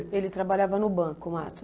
Ele trabalhava no banco, o Mato?